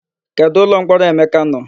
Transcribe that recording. Kedụ ụlọmkpọrọ Emeka nọ?